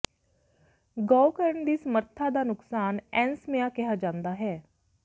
ਗਊ ਕਰਨ ਦੀ ਸਮਰੱਥਾ ਦਾ ਨੁਕਸਾਨ ਐਂਸਮੀਆ ਕਿਹਾ ਜਾਂਦਾ ਹੈ